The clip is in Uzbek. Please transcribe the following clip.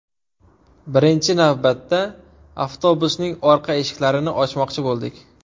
Birinchi navbatda avtobusning orqa eshiklarini ochmoqchi bo‘ldik.